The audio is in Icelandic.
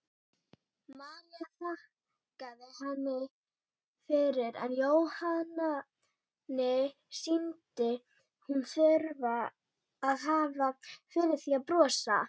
María þakkaði henni fyrir en Jóhanni sýndist hún þurfa að hafa fyrir því að brosa.